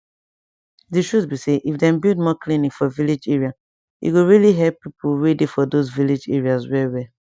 di truth be say if dem build more clinic for village area e go really help pipo wey dey for those village areas well well